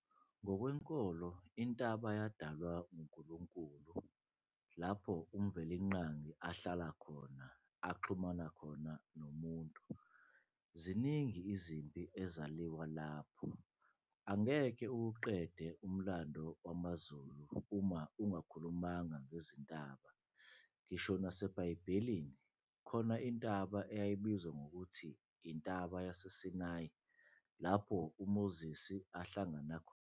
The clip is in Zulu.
Ngokwenkolo intaba yadalwa nguNkulunkulu, lapho uMvelinqangi ahlala khona, axhumana khona nomuntu. Ziningi izimpi ezaliwa lapho, angeke uwuqede umlando wamaZulu uma ungakhulumanga ngezintaba. Ngisho nasebhayibhelini ikhona intaba eyayibizwa ngkuthi yintaba yaseSinayi lapho uMoses ahlangana khona noNkulunkulu.